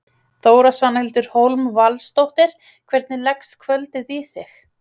Þóra: Svanhildur Hólm Valsdóttir, hvernig leggst kvöldið í þig?